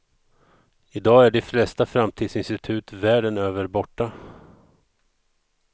I dag är de flesta framtidsinstitut världen över borta.